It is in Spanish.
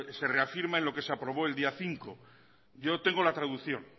se reafirma en lo que se aprobó el día cinco yo tengo la traducción